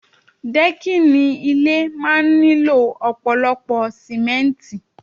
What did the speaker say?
Dẹ́kìnì ilé máa ń nílò ọ̀pọ̀lọpọ̀ símẹ́ntì